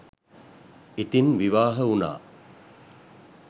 ඉතින් විවාහ වුණා